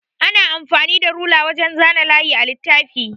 Ana amfani da rula wajan zana layi a littafi.